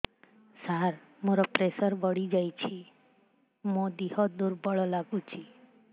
ସାର ମୋର ପ୍ରେସର ବଢ଼ିଯାଇଛି ମୋ ଦିହ ଦୁର୍ବଳ ଲାଗୁଚି